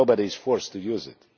nobody is forced to use it.